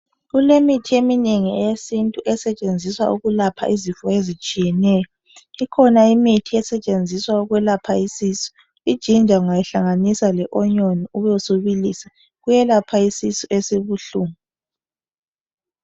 Kulemithi eminengi eyesintu esetshenziswa ukulapha izifo ezitshiyeneyo, ikhona imithi esetshenziswa ukwelapha isisu. Ijinja ungayihlanganisa le onion ube subilisa kuyelapha isisu esibuhlungu.